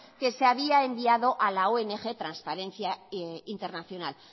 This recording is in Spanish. que se había enviado a la ong transparencia internacional